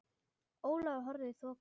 Ólafur horfði í þokuna.